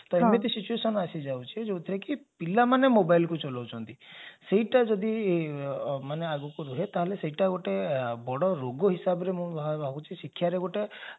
ତ ଏମିତି situation ଆସିଯାଉଛି ଯାଉଥିରେ କି ପିଲାମାନେ mobile କୁ ଚଲଉଛନ୍ତି ସେଇଟା ଯଦି ମାନେ ଆଗକୁ ହୁଏ ସେଇଟା ଗୋଟେ ବଡ ରୋଗ ହିସାବରେ ମୁଁ ଭାବୁଛି ଶିକ୍ଷାରେ ଗୋଟେ